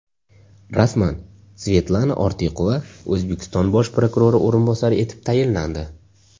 Rasman: Svetlana Ortiqova O‘zbekiston bosh prokurori o‘rinbosari etib tayinlandi.